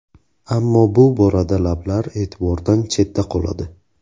Ammo bu borada lablar e’tibordan chetda qoladi.